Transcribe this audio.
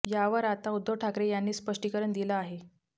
यावर आता उद्धव ठाकरे यांनी स्पष्टीकरण दिल आहे